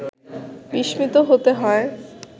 বিস্মিত হতে হয়